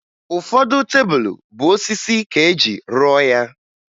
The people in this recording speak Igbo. Ụfọdụ tebulu bụ osisi ka eji rụọ ya